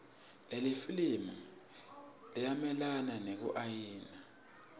lelifilimu linayelana nekuiwaya